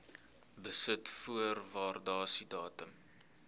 besit voor waardasiedatum